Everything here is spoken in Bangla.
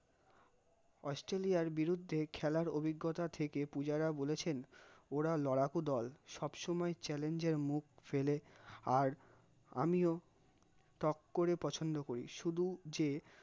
অস্ট্রেলিয়ার বিরুদ্ধে খেলার অভিজ্ঞতা থেকে পুজারা বলেছেন ওরা লড়াকু দল, সবসময় challenge এর মুখ ফেলে, আর আমিও টক করে পছন্দ করি, শুধু যে